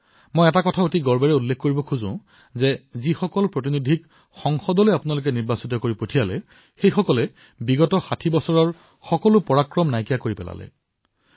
এটা কথা মই আজি অশেষ গৌৰৱৰ সৈতে উল্লেখ কৰিব বিচাৰিছো যে আপোনালোকে যিসকল প্ৰতিনিধিক নিৰ্বাচিত কৰি সংসদলৈ প্ৰেৰণ কৰিছে তেওঁলোকে যোৱা ৬০ বছৰৰ অভিলেখ ভংগ কৰিছে